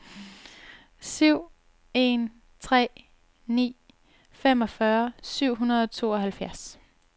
syv en tre ni femogfyrre syv hundrede og tooghalvfjerds